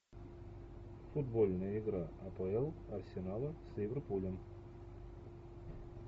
футбольная игра апл арсенала с ливерпулем